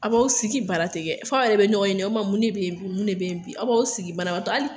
A b'aw sigi baara tɛ kɛ, f'a yɛrɛ bɛ ɲɔgɔn ɲininga, o kuma mun de bɛ yen bi, mun de bɛ yen bi, a b'aw sigi banabaatɔ hali